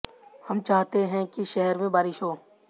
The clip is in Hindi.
हम चाहते हैं कि शहर में बारिश हो